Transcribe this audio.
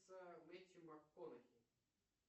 мэтью макконахи